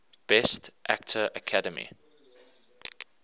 best actor academy